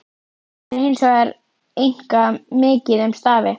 Þar er hins vegar einkar mikið um stafi.